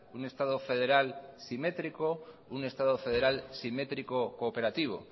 un estado federal un estado federal simétrico cooperativo